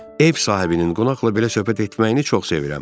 Ev sahibinin qonaqla belə söhbət etməyini çox sevirəm.